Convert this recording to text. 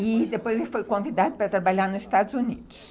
e depois ele foi convidado para trabalhar nos Estados Unidos.